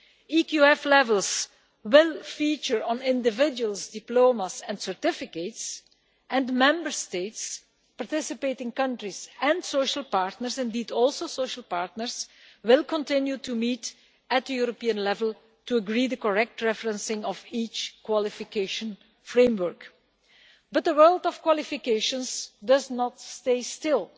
EQF levels will feature on individuals' diplomas and certificates and Member States, participating countries and social partners, indeed also social partners, will continue to meet at European level to agree the correct referencing of each qualification framework. But the world of qualifications does not stay still.